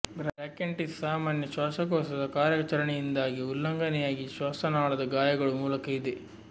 bronchitis ಸಾಮಾನ್ಯ ಶ್ವಾಸಕೋಶದ ಕಾರ್ಯಾಚರಣೆಯಿಂದ ಉಲ್ಲಂಘನೆಯಾಗಿ ಶ್ವಾಸನಾಳದ ಗಾಯಗಳು ಮೂಲಕ ಇದೆ